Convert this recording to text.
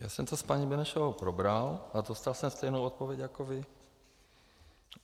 Já jsem to s paní Benešovou probral a dostal jsem stejnou odpověď jako vy.